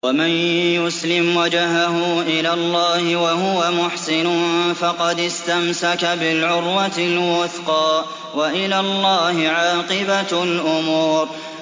۞ وَمَن يُسْلِمْ وَجْهَهُ إِلَى اللَّهِ وَهُوَ مُحْسِنٌ فَقَدِ اسْتَمْسَكَ بِالْعُرْوَةِ الْوُثْقَىٰ ۗ وَإِلَى اللَّهِ عَاقِبَةُ الْأُمُورِ